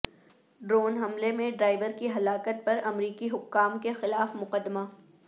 drone حملے میں driver کی ہلاکت پر امریکی حکام کے خلاف مقدمہ